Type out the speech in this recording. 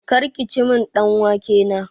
Kar kici min ɗan wake na!